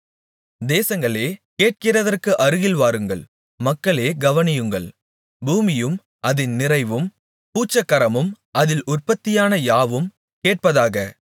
தேசங்களே கேட்கிறதற்கு அருகில் வாருங்கள் மக்களே கவனியுங்கள் பூமியும் அதின் நிறைவும் பூச்சக்கரமும் அதில் உற்பத்தியான யாவும் கேட்பதாக